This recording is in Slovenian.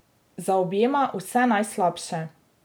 Zaobjema vse najslabše.